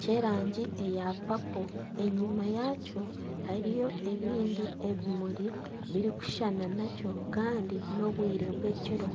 kyerangi eya papo. Enyima yakyo hariyo ebindi ebimuri biri kushushana nakyo Kandi n'obwire bw'ekiro.